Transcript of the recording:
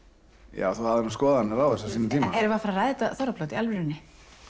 já þú hafðir nú skoðanir á þessu á sínum tíma eigum við að fara að ræða þetta þorrablót í alvörunni